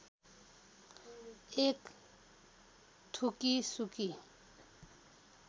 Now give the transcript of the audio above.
एक थुकी सुकी